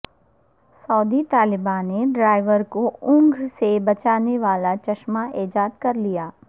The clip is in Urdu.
سعودی طالبہ نے ڈرائیور کو اونگھ سے بچانے والا چشمہ ایجاد کرلیا